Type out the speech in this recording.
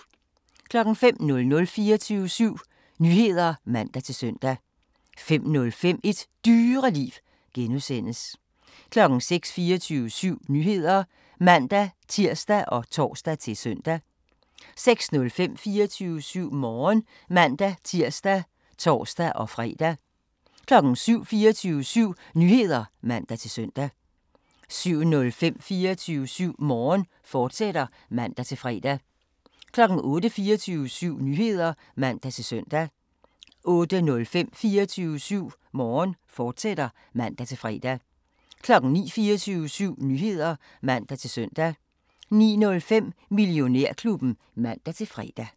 05:00: 24syv Nyheder (man-søn) 05:05: Et Dyreliv (G) 06:00: 24syv Nyheder (man-tir og tor-søn) 06:05: 24syv Morgen (man-tir og tor-fre) 07:00: 24syv Nyheder (man-søn) 07:05: 24syv Morgen, fortsat (man-fre) 08:00: 24syv Nyheder (man-søn) 08:05: 24syv Morgen, fortsat (man-fre) 09:00: 24syv Nyheder (man-søn) 09:05: Millionærklubben (man-fre)